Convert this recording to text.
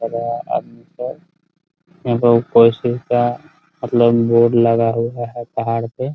सारा आदमी सब मतलब बोर्ड लगा हुआ है पहाड़ पे --